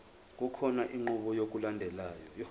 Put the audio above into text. kukhona inqubo yokulandelayo